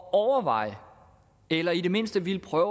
at overveje eller i det mindste ville prøve